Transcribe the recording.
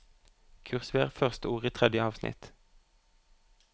Kursiver første ord i tredje avsnitt